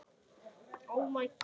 Hvað hét sá?